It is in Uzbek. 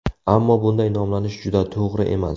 Ammo bunday nomlanish juda to‘g‘ri emas.